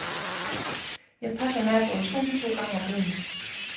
Jeg passer naboens hund to gange om ugen.